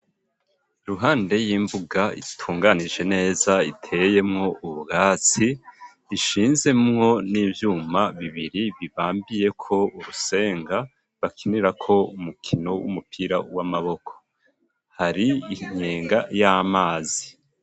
Uruhande y'imbuga itunganije neza iteyemwo ubwatsi bushinzemwo n'ivyuma bibiri bibambiye ko urusenga bakinirako umukino w'umupira w'amaboko hari inkenga y'amazi.